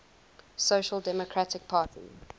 social democratic party